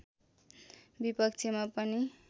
विपक्षमा पनि